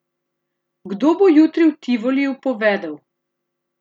Kdo bo jutri v Tivoliju povedel?